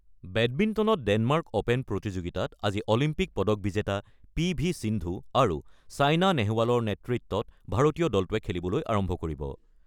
বেডমিণ্টনত Denmark open প্ৰতিযোগিতাত আজি Olympic পদক বিজেতা পি ভি সিন্ধু আৰু ছেইনা নেহৱালৰ নেতৃত্বত ভাৰতীয় দলটোৱে খেলিবলৈ আৰম্ভ কৰিব।